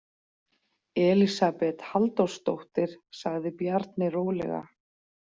Elísabet Halldórsdóttir, sagði Bjarni rólega.